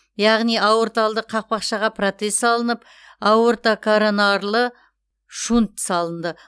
яғни аорталды қақпақшаға протез салынып аортокоронарлы шунт салынды